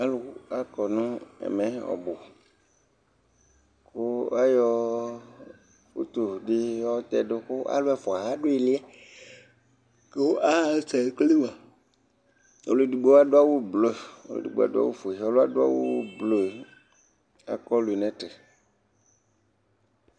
alò akɔ no ɛmɛ ɔbu kò ayɔ utu di yɔ tɛdu kò alò ɛfua adu ili yɛ kò asɛ ekele moa ɔlò edigbo adu awu blu ɔlò edigbo adu awu blu yɛ akɔ lunɛt